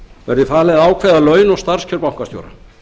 verði falið að ákveða laun og starfskjör bankastjóra